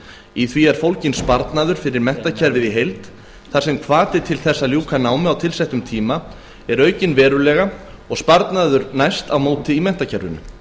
í því er fólginn sparnaður fyrir menntakerfið í heild þar sem hvati til þess að ljúka námi á tilsettum tíma er aukinn verulega og sparnaður næst á móti í menntakerfinu